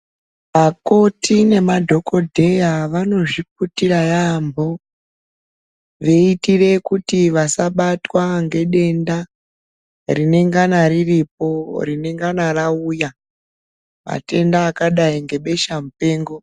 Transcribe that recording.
Akoti nemadhokodheya vanozviputira yambo veitira kuti vasabatwa nedenda rinongana riripo rinongana rauya matenda akadai nebesha mupengo.